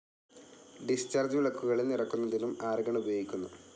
Discharge വിളക്കുകളിൽ നിറക്കുന്നതിനും argon ഉപയോഗിക്കുന്നു.